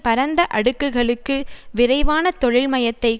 பரந்த அடுக்குகளுக்கு விரைவான தொழில்மயத்தை